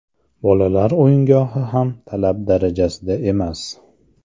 Bolalar o‘yingohi ham talab darajasida emas.